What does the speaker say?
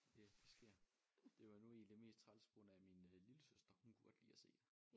Ja det sker det var nu egentlig mest træls på grund af min lillesøster hun kunne godt lide at se det